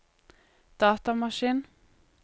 datamaskin